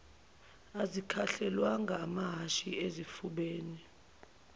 azikhahlelwanga ngamahhashi ezifubeni